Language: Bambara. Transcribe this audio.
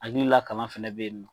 Hakili la kalan fana bɛ yen nɔ.